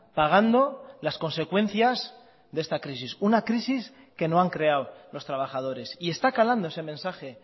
pagando las consecuencias de esta crisis una crisis que no han creado los trabajadores y está calando ese mensaje